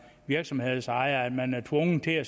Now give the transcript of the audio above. virksomhedsejer føler at man er tvunget til at